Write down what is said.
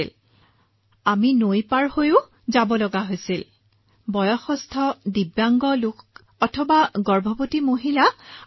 মহাশয় আমি নদী পাৰ হৈছো ঘৰে ঘৰে গৈছো যেনেদৰে আমি এনএইচচিভিচিৰ অধীনত ঘৰে ঘৰে গৈছো